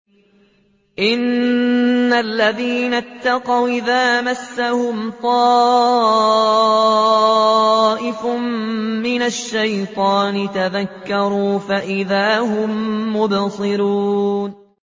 إِنَّ الَّذِينَ اتَّقَوْا إِذَا مَسَّهُمْ طَائِفٌ مِّنَ الشَّيْطَانِ تَذَكَّرُوا فَإِذَا هُم مُّبْصِرُونَ